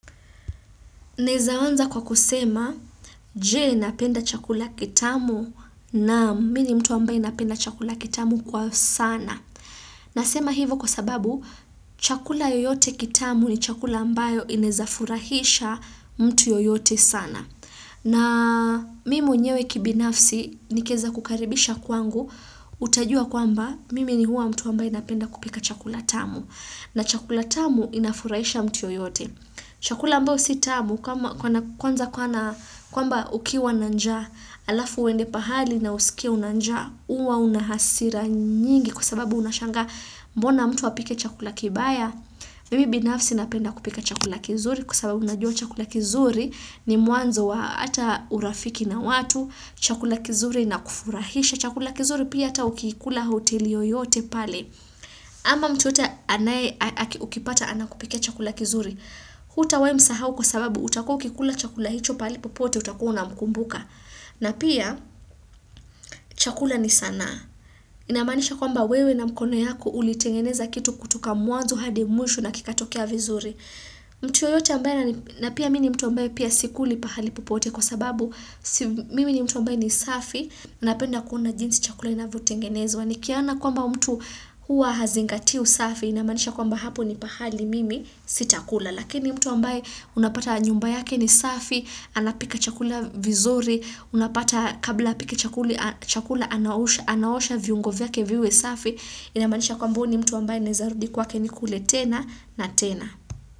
Naeza anza kwa kusema, jee napenda chakula kitamu na mini mtu ambaye napenda chakula kitamu kwa sana. Nasema hivo kwa sababu, chakula yoyote kitamu ni chakula ambayo inezafurahisha mtu yoyote sana. Na mimi mwenyewe kibinafsi, nikieza kukaribisha kwangu, utajua kwamba, mimi ni huwa mtu ambaye napenda kupika chakula tamu. Na chakula tamu inafurahisha mtu yoyote. Chakula ambao si tamu kwamba ukiwa na njaa alafu uende pahali na usikie una njaa uwa unahasira nyingi kwa sababu unashagaa mbona mtu apike chakula kibaya. Mimi binafsi napenda kupika chakula kizuri kwa sababu najua chakula kizuri ni mwanzo wa ata urafiki na watu chakula kizuri inakufurahisha, chakula kizuri pia ata ukiikula hoteli oyote pale. Ama mtu yote anaye ukipata anakupikia chakula kizuri Hutawai msahau kwa sababu utakuwa ukikula chakula hicho pali popote utakuwa unamkumbuka na pia chakula ni sanaa. Inamanisha kwamba wewe na mkono yako ulitengeneza kitu kutoka mwanzo hadi mwisho na kikatokea vizuri. Mtu yeyote ambaye, na pia mini mtu ambaye pia sikuli pali popote kwa sababu mimi ni mtu ambaye ni safi. Napenda kuona jinsi chakula inavyo tengenezwa. Ni kiona kwamba mtu hua hazingatii usafi inamanisha kwamba hapo ni pahali mimi sitakula lakini mtu ambaye unapata nyumba yake ni safi anapika chakula vizuri, unapata kabla apika chakula anaosha viungo vyake vyake viwe safi inamanisha kwamba huu mtu ambaye naeza rudi kwake nikule tena na tena.